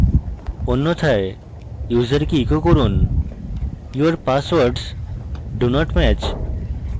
অন্যথায় ইউসারকে echo করুন your passwords do not match